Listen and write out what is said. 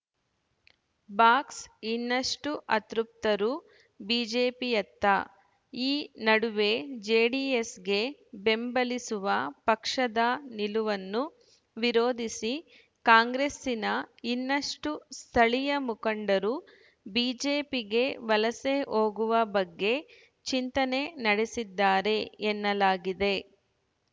box ಇನ್ನಷ್ಟುಅತೃಪ್ತರು ಬಿಜೆಪಿಯತ್ತ ಈ ನಡುವೆ ಜೆಡಿಎಸ್‌ಗೆ ಬೆಂಬಲಿಸುವ ಪಕ್ಷದ ನಿಲುವನ್ನು ವಿರೋಧಿಸಿ ಕಾಂಗ್ರೆಸ್ಸಿನ ಇನ್ನಷ್ಟುಸ್ಥಳೀಯ ಮುಖಂಡರು ಬಿಜೆಪಿಗೆ ವಲಸೆ ಹೋಗುವ ಬಗ್ಗೆ ಚಿಂತನೆ ನಡೆಸಿದ್ದಾರೆ ಎನ್ನಲಾದಿದೆ